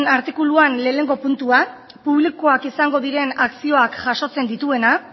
artikuluan lehenengo puntua publikoak izango diren akzioak jasotzen dituena